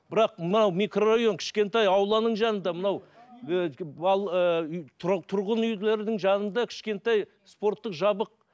бірақ мынау микрорайон кішкентай ауланың жанында мынау тұрғын үйлердің жанында кішкентай спорттық жабық